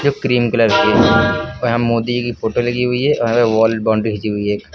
जो cream colour की है यहां मोदी की फोटो लगी हुई है और यहां वॉल बाउंड्री खींची हुई है एक।